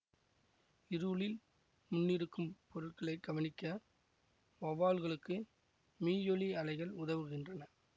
இருளில் முன்னிருக்கும் பொருட்களை கவனிக்க வௌவால்களுக்கு மீயொலி அலைகள் உதவுகின்றன